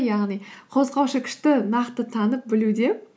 яғни қозғаушы күшті нақты танып білуде